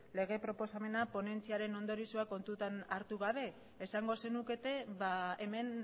lege proposamena ponentziaren ondorioa kontutan hartu gabe esango zenukete hemen